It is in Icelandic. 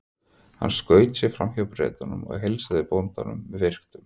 Hann skaut sér fram hjá Bretunum og heilsaði bóndanum með virktum.